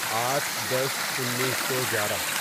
آٹھ دس انیسو گیارہ